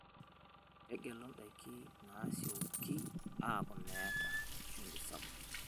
Tegelu ndaiki naasioki aaku nemeeta shumbi sapuk.